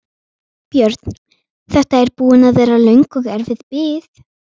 Björn: Þetta er búin að vera löng og erfið bið?